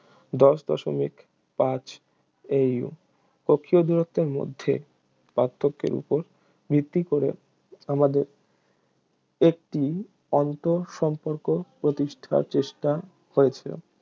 দশ দশমিক পাঁচ AU কক্ষীয় দূরত্বের মধ্যে পার্থক্যের উপর ভিত্তি করে আমাদের একটি আন্তঃসম্পর্ক প্রতিষ্ঠার চেষ্টা হয়েছে